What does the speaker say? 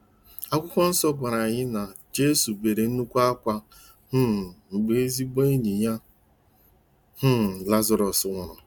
Akwụkwọ nsọ gwara Anyị na Jesu bere nnukwu akwa um mgbe ezigbo enyi ya um Lazarus nwụrụ